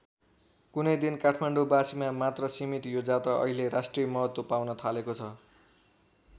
कुनै दिन काठमाडौँ बासीमा मात्र सीमित यो जात्रा अहिले राष्ट्रिय महत्त्व पाउन थालेको छ।